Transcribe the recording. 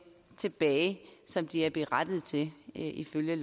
tilbage som de er berettiget til ifølge